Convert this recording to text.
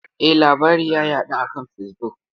Eh, labari ya yaɗu a kan Facebook.